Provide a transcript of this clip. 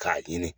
K'a ɲini